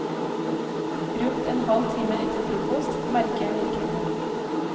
Rundt en halv time etter frokost, merker jeg virkningen.